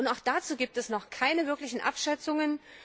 Auch dazu gibt es noch keine wirklichen Abschätzungen.